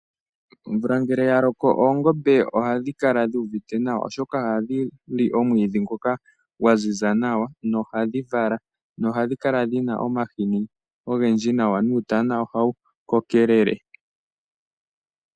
Omvula ngele yaloko oongombe ohadhi kala dhuuvite nawa oshoka ohadhi li omwiidhi ngoka gwa ziza nawa noha dhi vala. Ohadhi kala dhina omahini ogendji nawa nuutana ohawu kokelele.